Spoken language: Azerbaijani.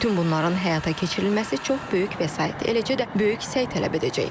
Bütün bunların həyata keçirilməsi çox böyük vəsait, eləcə də böyük səy tələb edəcək.